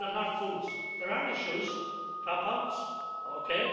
people are not fools. There are issues dropouts, ok